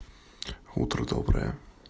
утро доброе